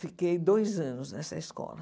Fiquei dois anos nessa escola.